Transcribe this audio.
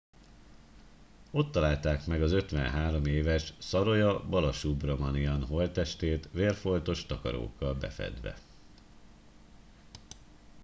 ott találták meg az 53 éves saroja balasubramanian holttestét vérfoltos takarókkal befedve